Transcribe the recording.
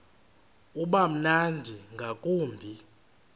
uba mnandi ngakumbi